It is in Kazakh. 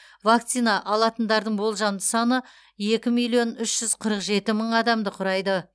вакцина алатындардың болжамды саны екі миллион үш жүз қырық жеті мың адамды құрайды